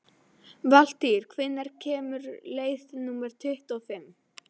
Valtýr, hvenær kemur leið númer tuttugu og fimm?